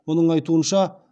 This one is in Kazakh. оның айтуынша